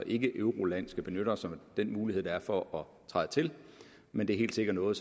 ikkeeuroland skal benytte os af den mulighed der er for træde til men det er helt sikkert noget